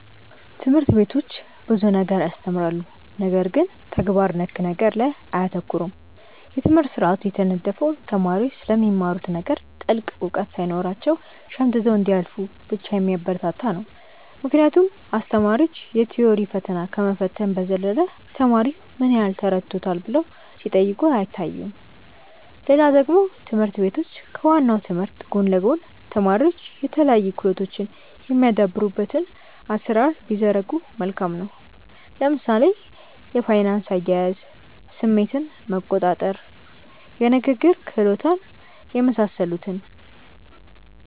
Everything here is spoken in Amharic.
ትምህርት ቤቶች ብዙ ነገር ያስተምራሉ ነገር ግን ተግባር ነክ ነገር ላይ አያተኩሩም። የትምህርት ስርአቱ የተነደፈው ተማሪዎች ስለሚማሩት ነገር ጥልቅ እውቀት ሳይኖራቸው ሸምድደው እንዲያልፉ ብቻ የሚያበረታታ ነው ምክንያቱም አስተማሪዎች የ ቲዎሪ ፈተና ከመፈተን በዘለለ ተማሪው ምን ያህል ተረድቶታል ብለው ሲጠይቁ አይታዩም። ሌላ ደግሞ ትምህርት ቤቶች ከ ዋናው ትምህርት ጎን ለ ጎን ተማሪዎች የተለያዩ ክህሎቶች የሚያዳብሩበትን አሰራር ቢዘረጉ መልካም ነው። ለምሳሌ የፋይናንስ አያያዝ፣ ስሜትን መቆጣር፣ የንግግር ክህሎት የመሳሰሉትን